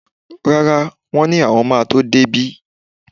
Rárá, wọ́n ní àwọn máa tó dé ibí